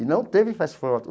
E não teve festa de formatura.